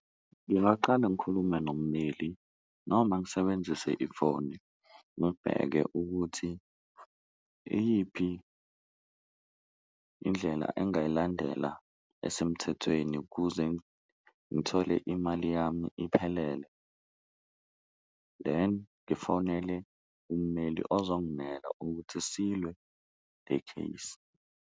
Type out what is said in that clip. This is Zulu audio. Ngingaqala ngikhulume nommeli noma ngisebenzise ifoni ngibheke ukuthi iyiphi indlela engayilandela esemthethweni kuze ngithole imali yami iphelele, then ngifonele ummeli ozongimela ukuthi silwe le case.